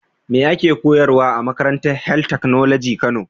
Me ake koyarwa a makarantar health technology kano.